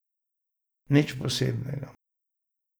Nič posebnega.